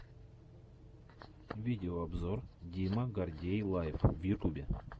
видеообзор дима гордей лайв в ютюбе